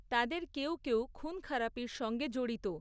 তাদের কেউ কেউ খুন খারাপির সঙ্গে জড়িত।